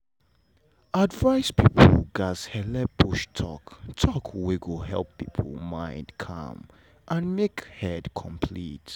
advice people gats helep push talk talk wey go help people mind calm and make head complete.